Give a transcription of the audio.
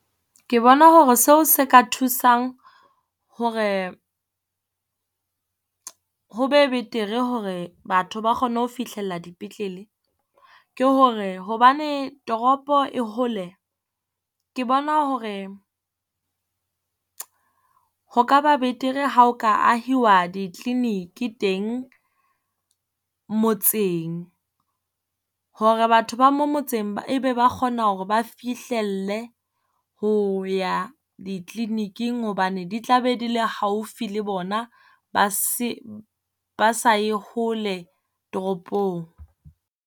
Ke bona hore seo se ka thusang hore ho be betere hore batho ba kgone ho fihlella dipetlele. Ke hore hobane toropo e hole, ke bona hore ho ka ba betere, ha o ka ahiwa di-clinic e teng motseng, hore batho ba mo motseng e be ba kgona hore ba fihlelle ho ya di-clinic-ing hobane di tla be di le haufi le bona, ba se, ba sa ye hole toropong.